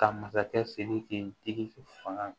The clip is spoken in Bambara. Ka masakɛ sidiki fanga